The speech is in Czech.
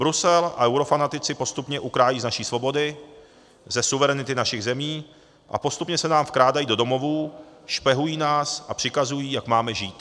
Brusel a eurofanatici postupně ukrajují z naší svobody, ze suverenity našich zemí a postupně se nám vkrádají do domovů, špehují nás a přikazují, jak máme žít.